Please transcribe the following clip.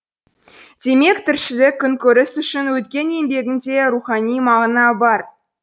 демек тіршілік күнкөріс үшін өткен еңбегінде де рухани мағына бар